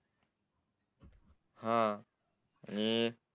हा हम्म